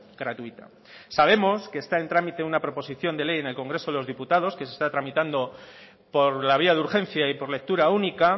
gratuita sabemos que está en trámite una proposición de ley en el congreso de los diputados que se está tramitando por la vía de urgencia y por lectura única